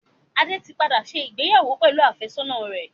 Adé tí padà ṣe ìgbéyàwó pẹ̀lú àfẹ́sọ́nà rẹ̀.